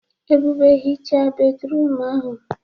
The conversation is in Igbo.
Ebube hichaa bédrụum ahụ.